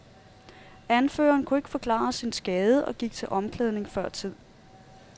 Anføreren kunne ikke forklare sin skade og gik til omklædning før tid.